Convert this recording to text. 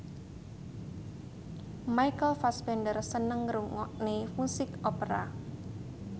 Michael Fassbender seneng ngrungokne musik opera